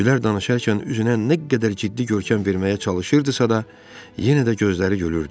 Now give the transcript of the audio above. Gülər danışarkən üzünə nə qədər ciddi görkəm verməyə çalışırdısa da, yenə də gözləri gülürdü.